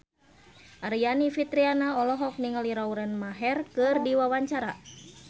Aryani Fitriana olohok ningali Lauren Maher keur diwawancara